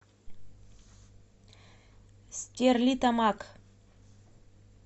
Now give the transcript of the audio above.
стерлитамак